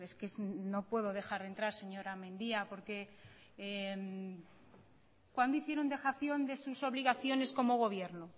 que no puedo dejar de entrar señora mendia por que cuándo hicieron dejación de sus obligaciones como gobierno